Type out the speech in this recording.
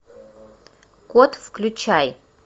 кот включай